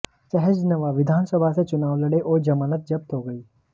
सहजनवा विधानसभा से चुनाव लड़े और जमानत जब्त हो गई